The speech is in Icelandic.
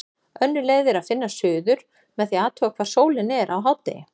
Önnur leið er að finna suður með því að athuga hvar sólin er á hádegi.